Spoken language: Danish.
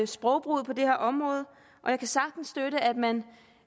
sprogbruget på det her område og jeg kan sagtens støtte at man